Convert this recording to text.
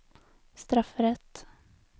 strafferett